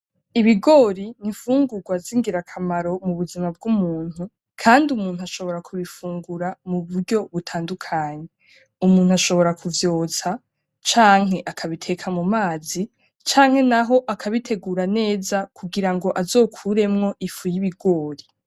Ibigori ni imfugurwa zingirakamaro mubuzima bw'umuntu, kandi umuntu ashobora kubufungura muburyo butandukanye. Umuntu ashobora kuvyotsa, canke akabiteka mumazi, canke naho akabitegura neza kugira ngo azokuremwo ifu yibigori.